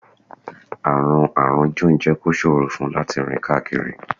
Àrùn Àrùn John jẹ́ kó ṣòro fún un láti rìn káàkiri